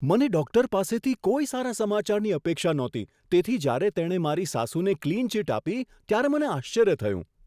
મને ડૉક્ટર પાસેથી કોઈ સારા સમાચારની અપેક્ષા નહોતી તેથી જ્યારે તેણે મારી સાસુને ક્લીન ચિટ આપી ત્યારે મને આશ્ચર્ય થયું.